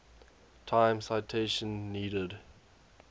time citation needed